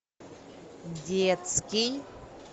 детский